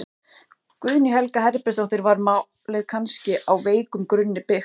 Guðný Helga Herbertsdóttir: Var málið kannski á veikum grunni byggt?